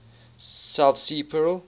south sea pearl